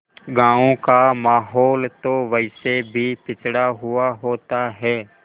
गाँव का माहौल तो वैसे भी पिछड़ा हुआ होता है